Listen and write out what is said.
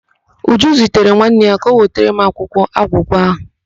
Uju zitere nwanne ya ka ọ wetara m akwụkwọ agwụgwa ahụ.